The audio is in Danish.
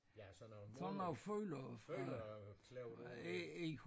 Ja sådan nogle målere følere klæbet på